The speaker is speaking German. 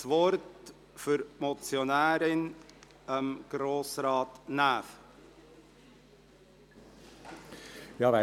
Für die Motionärin gebe ich Grossrat Näf das Wort.